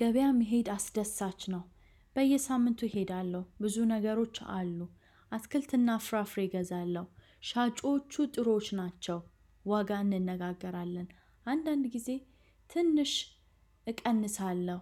ገበያ መሄድ አስደሳች ነው። በየሳምንቱ እሄዳለሁ ብዙ ነገሮች አሉ አትክልትና ፍራፍሬ እገዛለሁ ሻጮቹ ጥሮች ናቸው ዋጋ እንነጋገራለን አንዳንድ ጊዜ ትንሽ እቀንሳለሁ።